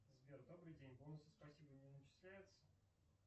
сбер добрый день бонусы спасибо не начисляются